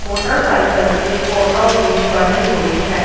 Motorcycle की photo भी बनी हुई है।